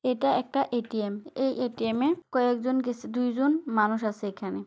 এটা একটা A .T M.. এই এ .টি .এম. -এ কয়েকজন দুই জন মানুষ আছে এখানে।